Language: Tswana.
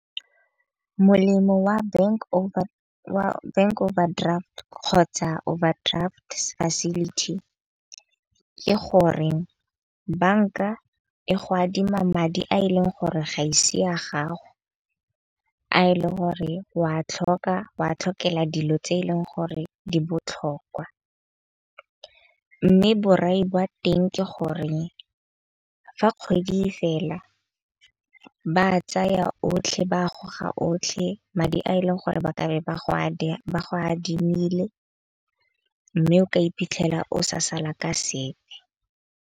Molemo wa bank overdraft kgotsa overdraft facility, ke gore banka e go adima madi a e leng gore ga ise a gago. A e leng gore wa tlhoka wa tlhokega dilo tse eleng gore di botlhokwa. Mme borai ba teng ke gore fa kgwedi e fela ba tsaya otlhe ba a goga otlhe, madi a e leng gore ba ka be ba go ba go adimile. Mme o ka iphitlhela o sa sala ka sepe.